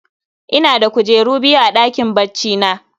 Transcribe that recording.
Ina da kujeru biyu a ɗakin baccina